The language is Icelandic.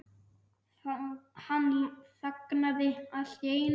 Hann þagnaði allt í einu.